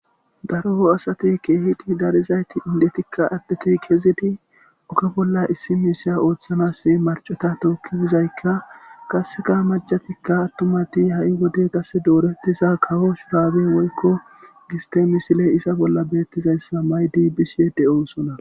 Daro asat keehippe darizayt indotinne adet oge bolla issi misha othanas marcota toki bizayka qaseka mac'atika atumat ha'i wode doretizaysa kawo shurabe woyko giste misiley dizaysa mayid bishe dosona.